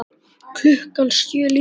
Klukkan sjö líka.